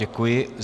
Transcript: Děkuji.